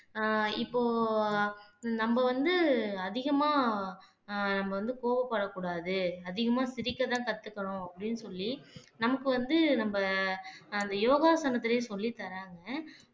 அஹ் இப்போ நம்ம வந்து அதிகமா அஹ் நம்ம வந்து கோபப்படக்கூடாது அதிகமா சிரிக்கத்தான் கத்துக்கணும் அப்படீன்னு சொல்லி நமக்கு வந்து நம்ம அந்த யோகாசனத்திலேயே சொல்லித் தர்றாங்க